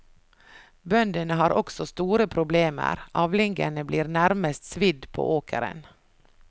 Bøndene har også store problemer, avlingene blir nærmest svidd på åkeren.